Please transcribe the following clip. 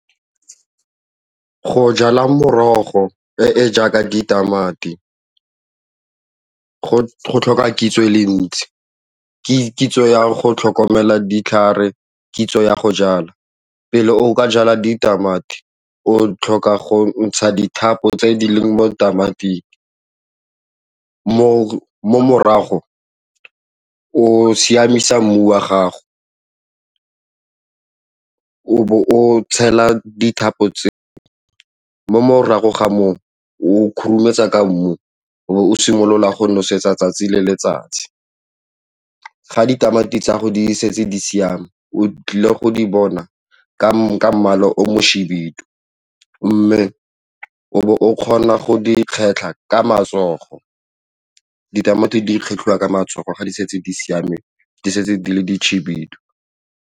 Go jala merogo e e jaaka ditamati go tlhoka kitso e le ntsi, kitso yang go tlhokomela ditlhare kitso ya go jala. Pele o ka jala ditamati o tlhoka go ntsha dithapo tse di leng mo tamati morago o siamisa mmu wa gago o tshela dithapo tse mo morago ga moo o khurumetsa ka mmu o simolola go nosetsa tsatsi le letsatsi. Ga ditamati tsa gago di setse di siame o tlile go di bona ka mmala o mohibidu mme o bo o kgona go di kgetlha ka matsogo, ditamati di kgetlhwa ka matsogo ga di setse di siame, di setse di le dikhibidu.